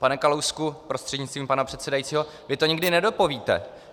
Pane Kalousku prostřednictvím pana předsedajícího, vy to nikdy nedopovíte.